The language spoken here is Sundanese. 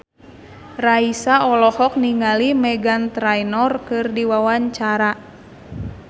Raisa olohok ningali Meghan Trainor keur diwawancara